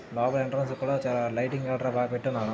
బాబాయ్ ఎంట్రెన్స్ చాలా లైటింగ్ గట్రా బాగా పెట్టిండు.